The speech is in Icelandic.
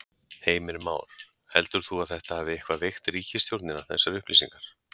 Heimir Már: Heldur þú að þetta hafi eitthvað veikt ríkisstjórnina þessar upplýsingar?